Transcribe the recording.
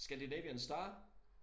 Scandinavian Star